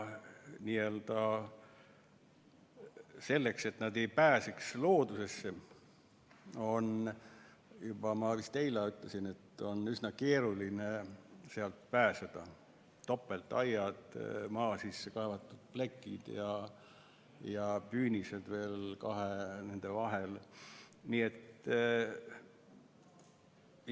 Selleks, et nad ei pääseks loodusesse, on, nagu ma vist ka eile ütlesin, ehitatud topeltaiad: maa sisse kaevatud plekid ja püünised veel nende kahe vahel, nii et üsna keeruline on sealt loodusesse pääseda.